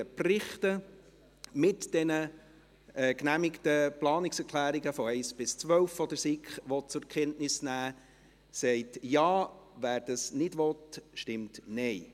Wer diese Motion annehmen will, stimmt Ja, wer dies ablehnt, stimmt Nein.